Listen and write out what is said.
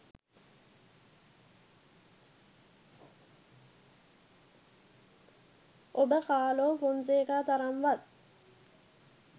ඔබ කාලෝ ෆොන්සේකා තරම්වත්